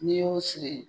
N'i y'o siri